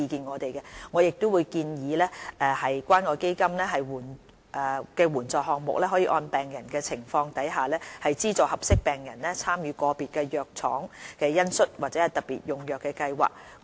我們會建議關愛基金援助項目可按個別病人的情況，資助合適病人參與個別藥廠的恩恤或特別用藥計劃。